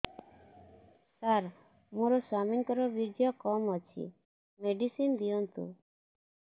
ସାର ମୋର ସ୍ୱାମୀଙ୍କର ବୀର୍ଯ୍ୟ କମ ଅଛି ମେଡିସିନ ଦିଅନ୍ତୁ